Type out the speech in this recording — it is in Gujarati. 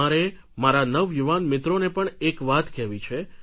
મારે મારા નવયુવાન મિત્રોને પણ એક વાત કહેવી છે